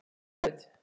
Fjóla Rut.